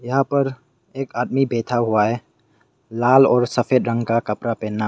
यहां पर एक आदमी बैठा हुआ है लाल और सफेद रंग का कपड़ा पहना--